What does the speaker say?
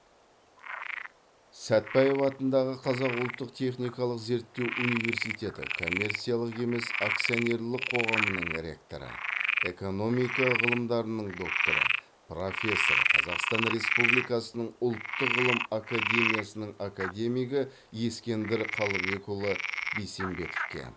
сәтбаев атындағы қазақ ұлттық техникалық зерттеу университеті коммерциялық емес акционерлік қоғамының ректоры экономика ғылымдарының докторы профессор қазақстан республикасының ұлттық ғылым академиясының академигі ескендір қалыбекұлы бейсембетовке